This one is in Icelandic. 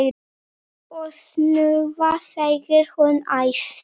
Og snúða! segir hún æst.